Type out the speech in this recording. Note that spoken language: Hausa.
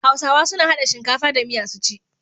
Hausawa suna hada shinkafa da miya su ci.